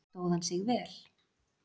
Stóð hann sig vel.